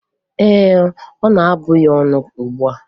Ee, ọ na-abụ ya ọnụ ugbua.